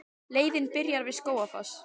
Leiðin byrjar við Skógafoss.